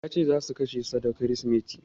Ya ce za su kashe sa da Kirsimeti.